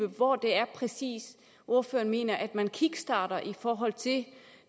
hvor det er ordføreren mener at man kickstarter i forhold til